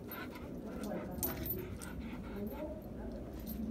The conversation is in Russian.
врубай канал ник джуниор на тв